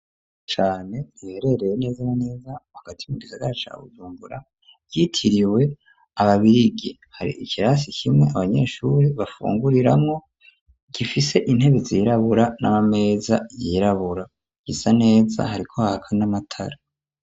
Cane riherereye neza neza wagati mu gisaga cawuzungura yitiriwe ababirigi hari ikirasi kimwe abanyeshuri bafunguriramwo, gifise intebi zirabura n'amameza yirabura gisa neza hariko haka n'amatara.